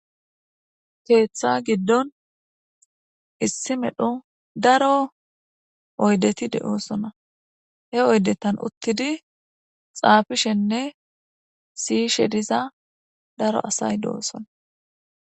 Keththa giidon issi medhdho oyddetinne izza bolla uutidi siyyiza daaro asati de'ossona.